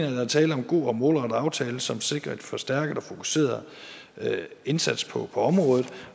at der er tale om en god og målrettet aftale som sikrer en forstærket og fokuseret indsats på området